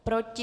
Proti?